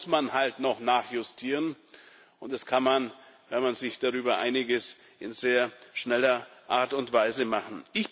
Manchmal muss man noch nachjustieren, und das kann man, wenn man sich darüber einig ist, auf sehr schnelle Art und Weise machen.